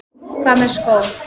Hvað með skó?